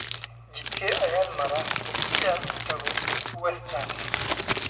Jidkee ayaan mara si aan u tago Westlands?